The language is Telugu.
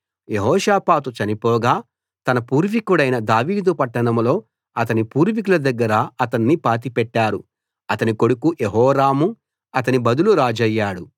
యెహోషాపాతు చనిపోగా తన పూర్వీకుడైన దావీదు పట్టణంలో అతని పూర్వీకుల దగ్గర అతణ్ణి పాతిపెట్టారు అతని కొడుకు యెహోరాము అతని బదులు రాజయ్యాడు